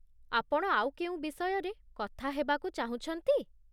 ଆପଣ ଆଉ କେଉଁ ବିଷୟରେ କଥା ହେବାକୁ ଚାହୁଁଛନ୍ତି?